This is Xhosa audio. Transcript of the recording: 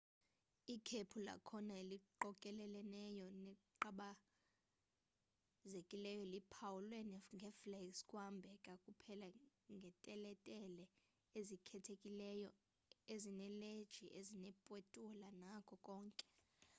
ikhephu lakhona eliqokeleleneyo neqabakaelizeleyo liphawulwe ngeflags kungahambeka kuphela ngeteletele ezikhethekileyo ezinezileji ezinepetula nako konke